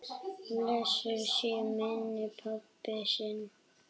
Blessuð sé minning pabba míns.